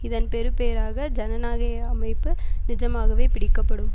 இதன் பெறுபேறாக ஜனநாகய அமைப்பு நிஜமாகவே பிடிக்கப்படும்